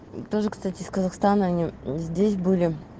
тоже кстати с казахстана они здесь были